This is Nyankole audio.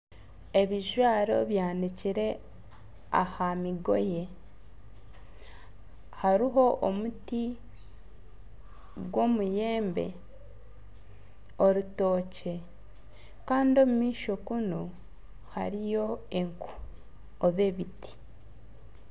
Ebijwaro byanikire aha migoye hariho omuti gw'omuyembe, orutookye kandi omumaisho kunu hariyo enku niga ebiti.